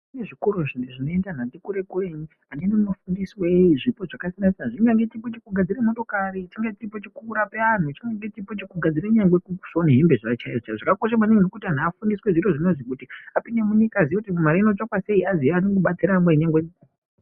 Kune zvikoro zvimweni zvinoenda anhu ati kure-kure. anenge eifundiswe zvipo zvakasiyana-siyana. Zvingange chipo chekugadzire motokari , chingange chipo chekurape anhu. Chingange chipo chekugadzire nyangwe kusone hembe dzavo chaidzo chaidzo. Zvakakosha maningi ngekuti antu afundiswe zvirozvi kuti apinde munyika aziye kuti mare inotsvakwa sei, aziye kubatsira nyangwe...